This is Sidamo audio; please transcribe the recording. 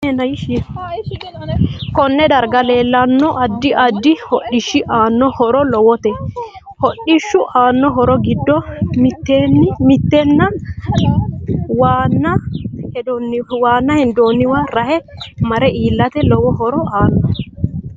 Konne darga leelanno addi addi hodhishi aano horo lowote hodhishu aano horo giddo mittena waana hendooniwa rahe. mare iilate lowo horo aano